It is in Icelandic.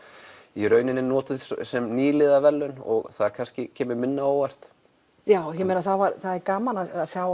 í rauninni notað sem nýliðaverðlaun og það kannski kemur minna á óvart já ég meina það er gaman að sjá